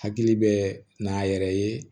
Hakili bɛ n'a yɛrɛ ye